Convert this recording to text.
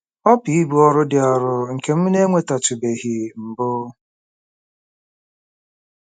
Ọ bụ ibu ọrụ dị arọ nke m na-enwetatụbeghị mbụ.